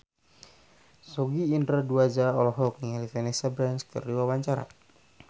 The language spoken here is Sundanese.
Sogi Indra Duaja olohok ningali Vanessa Branch keur diwawancara